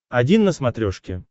один на смотрешке